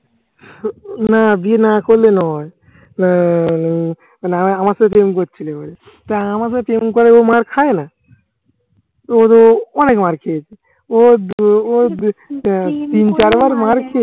না বিয়ে না করলে নয়। আহ মানে আ আমাকে প্রেম করছিলি বলে। তো আমাকে করে ও মার খায় না ওর ও অনেক মার খেয়েছে। ও তিন চার মার খেয়েছে।